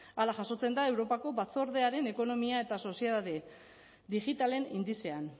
hala jasotzen da europako batzordearen ekonomia eta soziedade digitalen indizean